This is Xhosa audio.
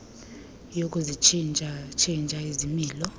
yokuzitshintsha tshintsha izilimo